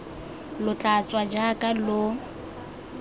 lo tla tswa jaaka lo